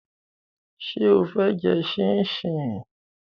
Ṣé o fẹ́ jẹ ṣíńṣiǹ?